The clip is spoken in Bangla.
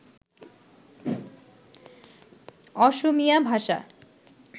অসমীয়া ভাষা